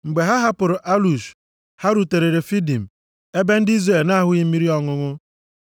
Mgbe ha hapụrụ Alush, ha rutere Refidim, ebe ndị Izrel na-ahụghị mmiri ọṅụṅụ.